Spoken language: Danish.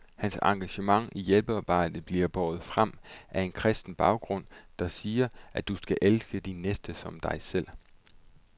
Hans engagement i hjælpearbejdet bliver båret frem af en kristen baggrund, der siger, at du skal elske din næste som dig selv.